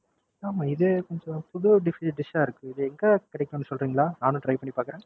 ஆமா இது கொஞ்சம் புது Food dish ஆ இருக்கு. இது எங்க கிடைக்கும்னு சொல்றீங்களா நானும் Try பண்ணி பாக்குறேன்.